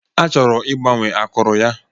A chọrọ igbanwe akụrụ ya.